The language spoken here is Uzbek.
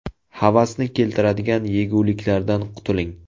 Havasni keltiradigan yeguliklardan qutuling .